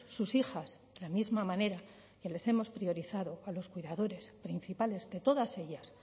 sus hijas la misma manera que les hemos priorizado a los cuidadores principales de todas ellas